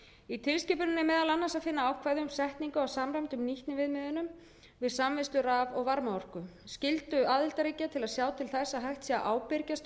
í tilskipuninni er meðal annars að finna ákvæði um setningu á samræmdum nýtniviðmiðunum við samvinnslu raf og varmaorku skyldu aðildarríkja til að sjá til þess að hægt sé að ábyrgjast